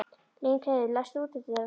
Lyngheiður, læstu útidyrunum.